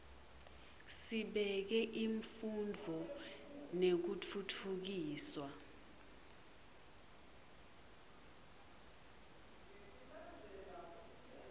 sibeke imfundvo nekutfutfukiswa